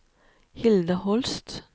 Hilda Holst